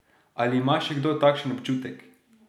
Ali ima še kdo takšen občutek?